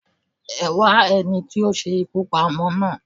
Ẹwá ẹni ti o se ikú pa ọmọ naa